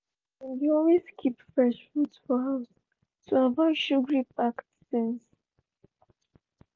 dem dey always keep fresh fruit for house to avoid sugary packaged things.